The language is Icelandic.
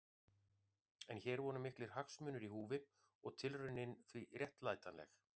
En hér voru miklir hagsmunir í húfi og tilraunin því réttlætanleg.